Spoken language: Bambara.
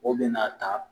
O bɛna ta